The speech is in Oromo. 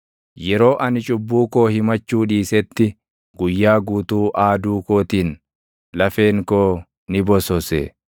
Yeroo ani cubbuu koo himachuu dhiisetti, guyyaa guutuu aaduu kootiin, lafeen koo ni bosose.